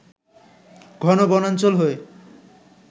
ঘন বনাঞ্চল হয়ে